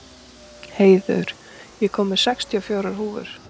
Hleiður, ég kom með sextíu og fjórar húfur!